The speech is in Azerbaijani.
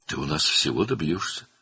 Sən bizdə hər şeyə nail olacaqsan."